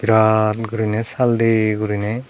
raan gurine saal de gurine.